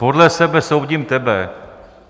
Podle sebe soudím tebe.